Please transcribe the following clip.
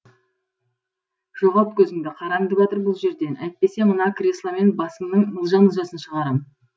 жоғалт көзіңді қараңды батыр бұл жерден әйтпесе мына кресломен басыңның мылжа мылжасын шығарам